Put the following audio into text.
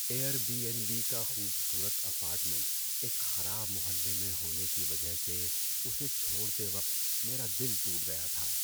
Year be N be کا خوبصورت apartment ایک خراب محلے میں ہونے کی وجہ سے اسے چھوڑتے وقت میرا دل ٹوٹ گیا تھا۔